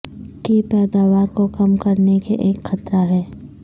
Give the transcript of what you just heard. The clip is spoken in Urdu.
کی پیداوار کو کم کرنے کے ایک خطرہ ہے